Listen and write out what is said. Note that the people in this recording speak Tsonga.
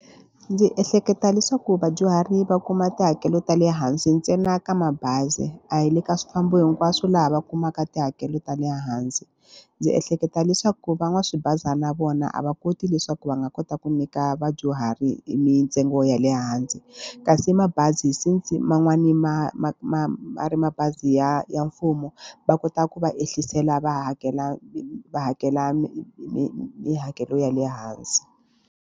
Ndzi ehleketa leswaku vadyuhari va kuma tihakelo ta le hansi ntsena ka mabazi, a hi le ka swifambo hinkwaswo laha va kumaka tihakelo ta le hansi. Ndzi ehleketa leswaku van'waswibazana vona a va koti leswaku va nga kota ku nyika vanhu vadyuhari mintsengo ya le hansi. Kasi mabazi since man'wani ma ma ma ma ri mabazi ya ya mfumo, va kota ku va ehliseliwa va hakela hakela tihakelo ya le hansi.